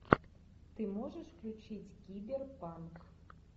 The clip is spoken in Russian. ты можешь включить киберпанк